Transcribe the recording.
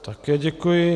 Také děkuji.